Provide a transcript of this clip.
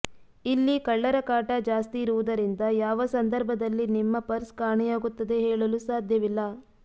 ಇಲ್ಲಿ ಕಳ್ಳರ ಕಾಟ ಜಾಸ್ತಿಇರುವುದರಿಂದ ಯಾವ ಸಂದರ್ಭದಲ್ಲಿ ನಿಮ್ಮ ಪರ್ಸ್ ಕಾಣೆಯಾಗುತ್ತದೆ ಹೇಳಲು ಸಾಧ್ಯವಿಲ್ಲ